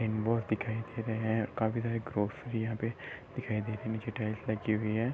दिखाई दे रहे हैं। ग्रोसरी यहां पे दिखाई दे रही है। नीचे टाईल्स लगे हुए हैं।